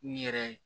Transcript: N yɛrɛ